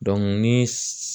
ni